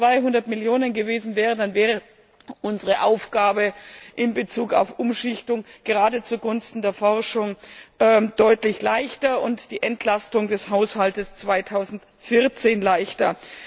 Wenn es nur 200 Millionen gewesen wären, dann wäre unsere Aufgabe in Bezug auf Umschichtung gerade zugunsten von Forschung und Innovation deutlich leichter und auch die Entlastung des Haushalts 2014 leichter.